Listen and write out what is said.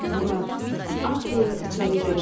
Ah deyə içəri girər.